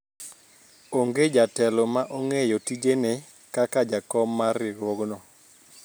onge jatelo ma ong'eyo tijene kaka jakom mar riwruogno